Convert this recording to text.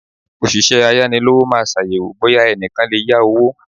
Òṣìṣẹ́ ayánilówó maa ṣàyẹ̀wò bóyá ẹnìkan lè yá owó.